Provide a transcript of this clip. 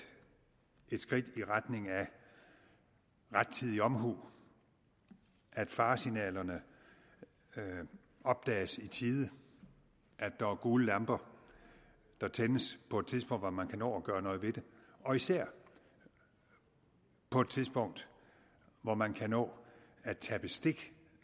et skridt i retning af rettidig omhu af at faresignalerne opdages i tide at der er gule lamper der tændes på et tidspunkt hvor man kan nå at gøre noget ved det og især på et tidspunkt hvor man kan nå at tage bestik